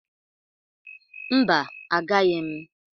Mba, agaghị m